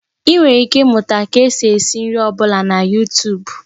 Ị nwere ike ịmụta ka esi esị nri ọ bụla na yutub